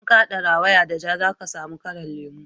idan ka hada rawaya da ja za ka samu kalar lemu